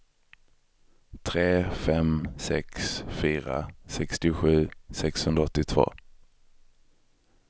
tre fem sex fyra sextiosju sexhundraåttiotvå